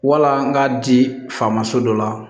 Wala n k'a di faamaso dɔ la